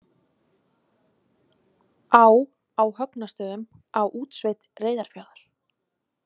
Á á Högnastöðum á Útsveit Reyðarfjarðar.